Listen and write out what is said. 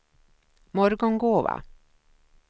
Morgongåva